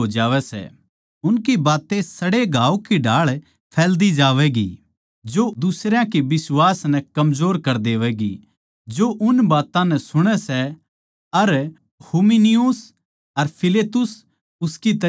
उनकी बातें सड़े घांव की ढाळ फैलदी जावैगी जो दुसरयां के बिश्वास नै कमजोर कर देंगी जो उन ताहीं सुणै सै अर हुमिनयुस अर फिलेतुस उनकी तरियां ए सै